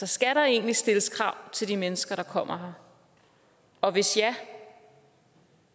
skal der egentlig stilles krav til de mennesker der kommer og hvis ja